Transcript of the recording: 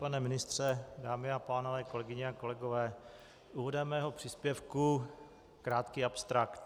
Pane ministře, dámy a pánové, kolegyně a kolegové, úvodem mého příspěvku krátký abstrakt.